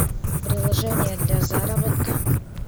приложение для заработка